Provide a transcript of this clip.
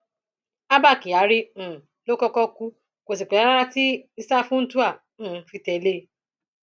abba kyari um ló kọkọ kú kò sì pẹ rárá tí isa funtua um fi tẹ lé e